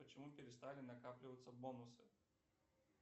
почему перестали накапливаться бонусы